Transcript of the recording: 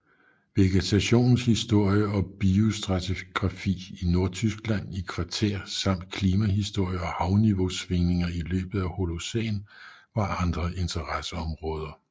Vegetationens historie og biostratigrafi i Nordtyskland i kvartær samt klimahistorie og havniveausvingninger i løbet af Holocæn var andre interesseområder